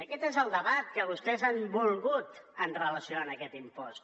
aquest és el debat que vostès han volgut amb relació a aquest impost